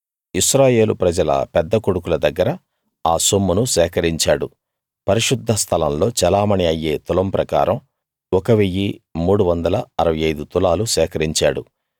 ఇశ్రాయేలు ప్రజల పెద్ద కొడుకుల దగ్గర ఆ సొమ్మును సేకరించాడు పరిశుద్ధ స్థలంలో చెలామణీ అయ్యే తులం ప్రకారం 1 365 తులాలు సేకరించాడు